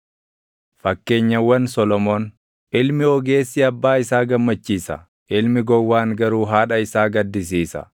Fakkeenyawwan Solomoon: Ilmi ogeessi abbaa isaa gammachiisa; ilmi gowwaan garuu haadha isaa gaddisiisa.